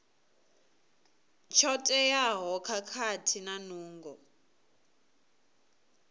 tsho teaho khathihi na nungo